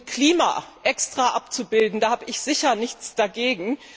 Und Klima extra abzubilden, da habe ich sicher nichts dagegen.